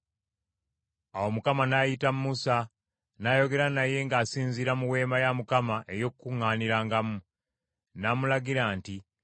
Awo Mukama n’ayita Musa, n’ayogera naye ng’asinziira mu Weema ey’Okukuŋŋaanirangamu. N’amulagira nti,